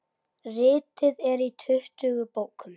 Ritið er í tuttugu bókum.